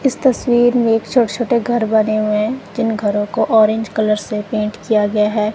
इस तस्वीर मे एक छोटे छोटे घर बने हुए है जिन घरों को ऑरेंज कलर से पेंट किया गया है।